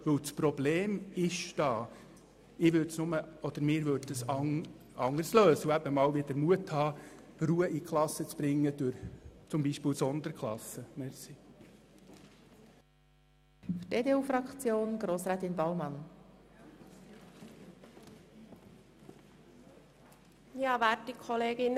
Das Problem ist vorhanden, nur würden wir es anders lösen, indem wir mehr Ruhe in die Klasse bringen, etwa durch die Schaffung von Sonderklassen.